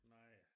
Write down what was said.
Nej